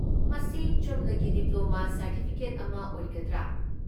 ꯃꯁꯤ ꯆꯨꯝꯅꯒꯤ diploma certificate ꯑꯃ ꯑꯣꯏꯒꯗ꯭ꯔꯥꯥ?